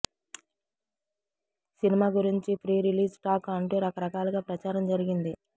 cinema గురించి pre release talk అంటూ రకరకాలుగా ప్రచారం జరిగింది